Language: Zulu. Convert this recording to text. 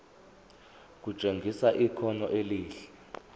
kutshengisa ikhono elihle